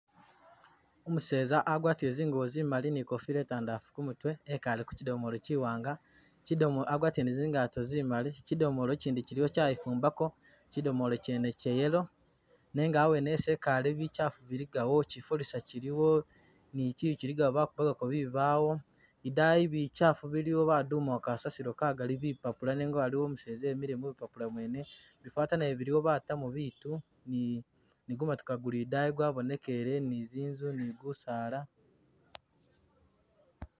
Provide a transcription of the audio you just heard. Umuseza agwatile zingubo zimali ni kofila itandalafu kumutwe ekale kuchudomolo chiwanga kyidomolo agwadile ni zingato zimali kyidomolo kyindi kyiliwo kyayifumbako, kyidomolo kyene kya yellow nenga hawene hesi ekale bichafu biligawo kyifolisa kyiliwo ni kyiyu kyiligawo bakubagako bibawo idayi bichafu biliwo badumawo kasasilo kagali bipapula nenga aliwo umuseza emile mubupapula mwene, bifaata nabyo biliwo batamo biitu ni gumotoka guli idayi gwabonekele ni zinzu ni gusaala.